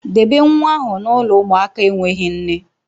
Debe nwa ahụ na ụlọ ụmụaka enweghị nne